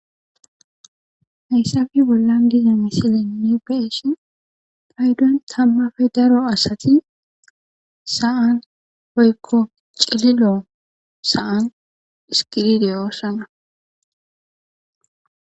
Hayissafi bollan diza misilenne beishi paydon tammafe daro asati sa'an hoykko cililoon saa dhiskidi deyoossana